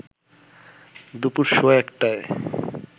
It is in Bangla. দুপুরসোয়া ১টায়